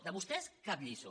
de vostès cap lliçó